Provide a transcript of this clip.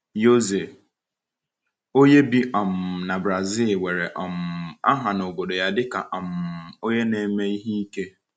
José, onye bi um na Brazil, nwere um aha n’obodo ya dịka um onye na-eme ihe ike.